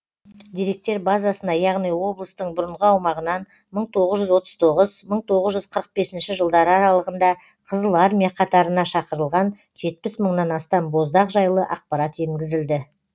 деректер базасына яғни облыстың бұрынғы аумағынан мың тоғыз жүз отыз тоғыз мың тоғыз жүз қырық бесінші жылдары аралығында қызыл армия қатарына шақырылған жетпіс мыңнан астам боздақ жайлы ақпарат енгізілді